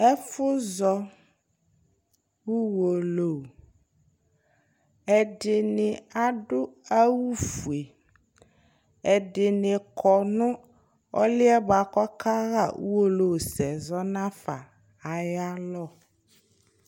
Ɛfʋzɔ Uwolowu Ɛdɩnɩ adʋ awʋ fue, ɛdɩnɩ kɔ nʋ ɔlʋ yɛ bʋa kʋ ɔkaɣa uwolowusɛ zɔ nafa ayʋ alɔ